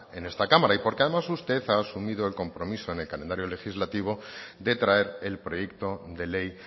en esta cámara y porque además usted ha sumido el compromiso en el calendario legislativo de traer el proyecto de ley